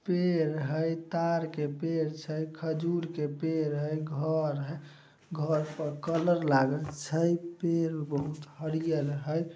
पेड़ हेय तार के पेड़ छै खजूर के पेड़ हेय घर हेय घर पर कलर लागल छै पेड़ बहुत हरियर हेय।